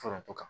Foronto ka